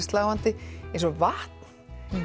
sláandi eins og vatn